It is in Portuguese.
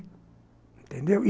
Entendeu?